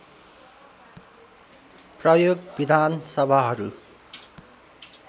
प्रयोग विधान सभाहरू